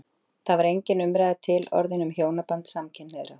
Þá var engin umræða til orðin um hjónaband samkynhneigðra.